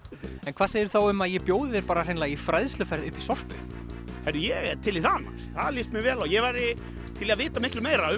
hvað segirðu þá um að ég bjóði þér bara í fræðsluferð upp í Sorpu heyrðu ég er til í það það líst mér vel á ég væri til í að vita miklu meira